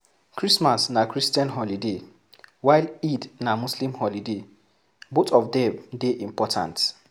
Christmas na Christian holiday while Eid na muslim holiday both of dem dey important